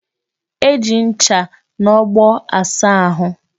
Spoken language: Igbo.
E ji ncha na ogbo asa ahu.